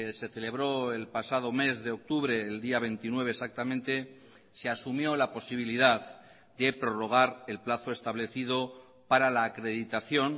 se celebró el pasado mes de octubre el día veintinueve exactamente se asumió la posibilidad de prorrogar el plazo establecido para la acreditación